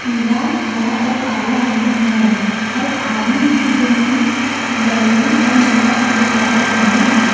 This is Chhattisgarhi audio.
पीला हरा अउ काला रंग म हवय अउ आदमी हे जेन मन बैगनी अउ नीला रंग के कपड़ा पहिने हे।